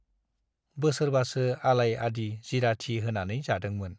बोसोरबासो आलाय आदि जिराथि होनानै जादोंमोन।